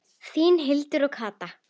Þínar Hildur og Katla.